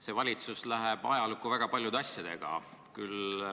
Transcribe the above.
See valitsus läheb ajalukku väga paljude asjadega.